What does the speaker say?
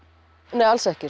nei alls ekki